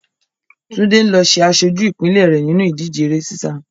Túndé ló ń ṣe aṣojú ìpínlẹ̀ rẹ̀ nínú ìdíje eré sísá.